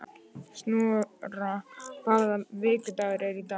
Snorra, hvaða vikudagur er í dag?